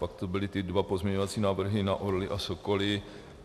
Pak to byly ty dva pozměňovací návrhy na orly a sokoly.